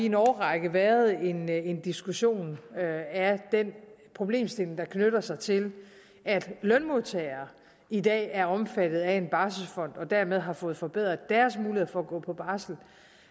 en årrække været en en diskussion af den problemstilling der knytter sig til at lønmodtagere i dag er omfattet af en barselsfond og dermed har fået forbedret deres mulighed for at gå på barsel